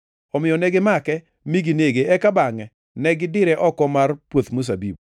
Omiyo negimake mi ginege eka bangʼe to gidire oko mar puoth mzabibu.